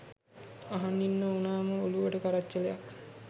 අහන් ඉන්න උනාම ඔලුවට කරච්චලයක්.